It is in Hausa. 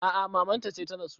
A a maman ta ce ta rasu.